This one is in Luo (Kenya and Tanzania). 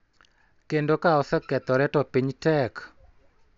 Kendo ka osekethore to piny tek�